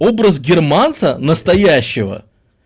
образ германца настоящего